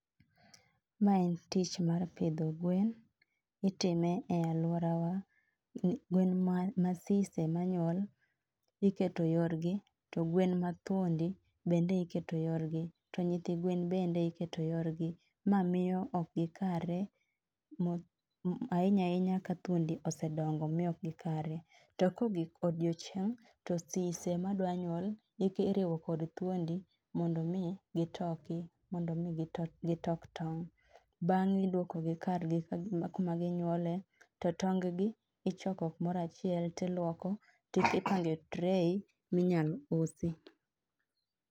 Ma en tich mar pidho gwen, itime e alwora wa. Gwen ma nasise manyuol iketo yorgi to gwen mag thuondi bende iketo yorgi to nyithi gwen bende iketo yorgi. Ma miyo ok gikare, ahinya ahinya ka thuondi osedongo miyo ok gikare. To kogik odiochieng' to sise madwanyuol iriwo kod thuondi mondo mi gitoki, mondo mi gito gitok tong'. Beng'e idwokogi kargi kuma ginyuole, to tong gi ichoko kumorachiel tilwoko, tipange tray minyal usi.